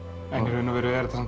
í raun og veru er þetta